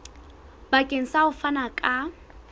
bakeng sa ho fana ka